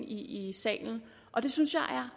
i salen og det synes jeg